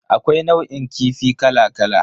Akwai nau'in kifi kala kala.